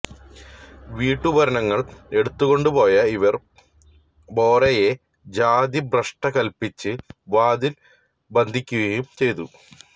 വീട്ടുപകരണങ്ങള് എടുത്തുകൊണ്ടുപോയ ഇവര് ഭോറെയെ ജാതിഭ്രഷ്ട് കല്പിച്ച് വാതില് ബന്ധിക്കുകയും ചെയ്തു